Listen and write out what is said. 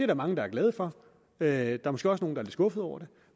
der mange der er glade for der er måske også nogle lidt skuffede over det